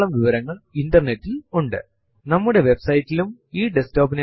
ഒരു ഡയറക്ടറി എന്നത് ഫൈൽസ് ന്റെയും മറ്റു ഡയറക്ടറീസ് കളുടെയും ഒരു ശേഖരം ആണ് എന്ന് മനസിലാക്കാം